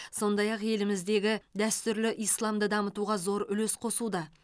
сондай ақ еліміздегі дәстүрлі исламды дамытуға зор үлес қосуда